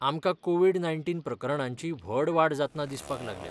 आमकां covid nineteen प्रकरणांची व्हड वाड जातना दिसपाक लागल्या.